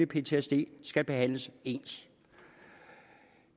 ptsd skal behandles ens